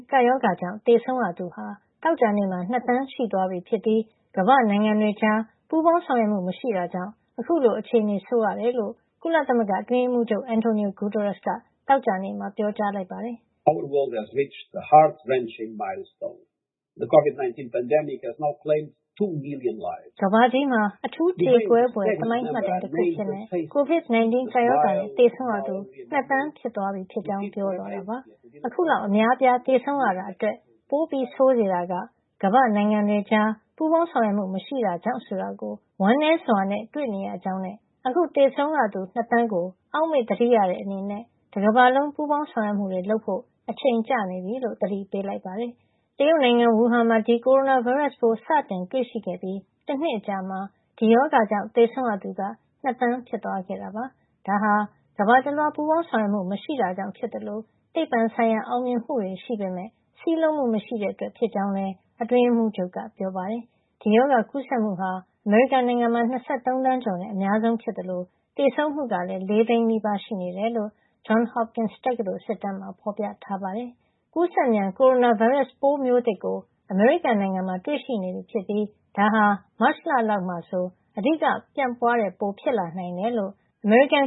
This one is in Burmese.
ကပ်ရောဂါကြောင့် သေဆုံးရသူဟာ သောကြာနေ့မှာ ၂ သန်း ရှိသွားပြီ ဖြစ်ပြီး ကမ္ဘာ့နိုင်ငံတွေကြား ပူးပေါင်းဆောင်ရွက်မှုမရှိတာကြောင့် အခုလို အခြေနေဆိုးရတယ်လို့ ကုလသမဂ္ဂ အတွင်းရေးမှုးချုပ် Antonio Guterres က သောကြာနေ့မှာ ပြောကြားလိုက်ပါတယ်။ “ကမ္ဘာကြီးမှာ အထူးကြေကွဲဖွယ် သမိုင်းမှတ်တိုင်တခု အဖြစ် COVID-19 ကပ်ရောဂါနဲ့ သေဆုံးရသူ ၂ သန်း ဖြစ်သွားပြီဖြစ်ကြောင်း ပြောသွားတာပါ။ အခုလောက် အများအပြား သေဆုံးခဲ့ရတာအတွက် ပိုဆိုးစေတာက ကမ္ဘာ့နိုင်ငံတွေကြား ပူးပေါင်းဆောင်ရွက်မှု မရှိတာကြောင့် ဆိုတာကို ဝမ်းနည်းစွာနဲ့ တွေ့နေရကြောင်းနဲ့ အခု သေဆုံးခဲ့ရသူ ၂ သန်းကို အောက်မေ့သတိရတဲ့ အနေနဲ့ တကမ္ဘာလုံးပူးပေါင်းဆောင်ရွက်မှုတွေ လုပ်ဖို့ အချိန်ကျနေပြီ” လို့ သတိပေးလိုက်ပါတယ်။ တရုတ်နိုင်ငံ ဝူဟန်မှာ ဒီကိုရိုနာဗိုင်းရပ်စ်ပိုး စတင်တွေ့ရှိခဲ့ပြီး တနှစ်အကြာမှာ ဒီရောဂါကြောင့် သေဆုံးသူ ၂ သန်းဖြစ်သွားခဲ့တာပါ။ ဒါဟာ ကမ္ဘာတလွှား ပူးပေါင်းဆောင်ရွက်မှု မရှိတာကြောင့် ဖြစ်သလို သိပ္ပံဆိုင်ရာ အောင်မြင်မှုတွေ ရှိပေမယ့် စည်းလုံးမှု မရှိတာကြောင့် ဖြစ်ကြောင်း လည်း အတွင်းရေးမှုးချုပ်က ပြောပါတယ်။ ဒီရောဂါကူးစက်မှုဟာ အမေရိကန်နိုင်ငံမှာ ၂၃ သန်းကျော်နဲ့ အများဆုံး ဖြစ်သလို သေဆုံးမှုကလည်း ၄ သိန်းနီးပါးရှိနေတယ်လို့ Johns Hopkins တက္ကသိုလ် စစ်တမ်းမှာဖေါ်ပြပါတယ်။ ကူးစက်မြန် ကိုရိုနာဗိုင်းရပ်စ် ပိုးမျိုးသစ်ကို အမေရိကန်နိုင်ငံမှာ တွေ့ရှိနေပြီဖြစ်ပြီး ဒါဟာ မတ်လလောက်မှာ အဓိကပြန့်ပွားတာမျိုး ဖြစ်လာနိုင်တယ်လို့ အမေရိကန်